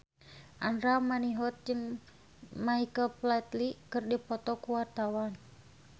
Andra Manihot jeung Michael Flatley keur dipoto ku wartawan